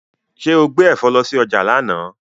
Ṣẹ́ o gbé ẹ̀fọ́ lọ sí ọjà lánàá?